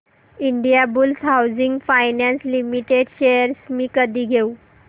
Indiabulls housing finance limited shares मी कधी घेऊ